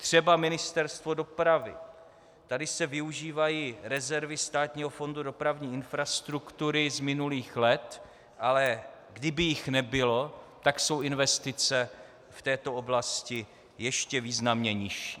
Třeba Ministerstvo dopravy - tady se využívají rezervy Státního fondu dopravní infrastruktury z minulých let, ale kdyby jich nebylo, tak jsou investice v této oblasti ještě významně nižší.